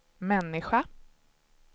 människa